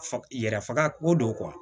Fa yɛrɛ faga o don